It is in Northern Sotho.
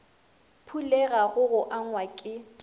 phulega go go angwa ke